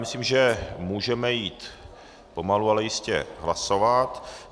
Myslím, že můžeme jít pomalu, ale jistě hlasovat.